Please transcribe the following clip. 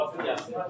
Baxın gəlsin.